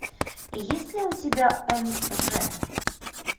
есть ли у тебя мж